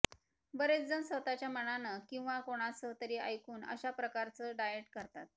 बरेचजण स्वतःच्या मनानं किंवा कोणाचं तरी ऐकून अशा प्रकारचं डाएट करतात